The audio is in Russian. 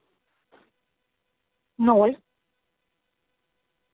ноль